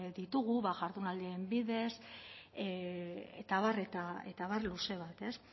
ditugu bada jardunaldien bidez eta abar luze bat